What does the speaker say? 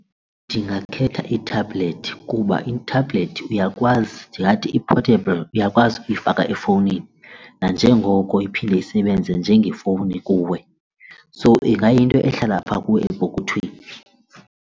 Ndingakhetha ithabhlethi kuba ithabhlethi uyakwazi ndingathi i-portable uyakwazi ukuyifaka efowunini nanjengoko iphinde isebenze njengefowuni kuwe. So ingayinto ehlala pha kuwe epokothweni.